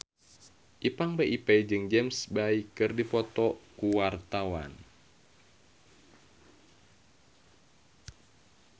Ipank BIP jeung James Bay keur dipoto ku wartawan